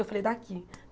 Eu falei, daqui.